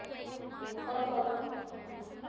ਉਹ ਕੌਣ?